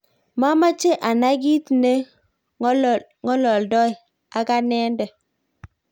mameche anai kiit ne ng'olondoi ak anende